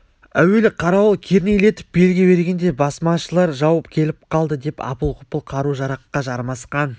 әуелі қарауыл кернейлетіп белгі бергенде басмашылар жау келіп қалды деп апыл-ғұпыл қару-жараққа жармасқан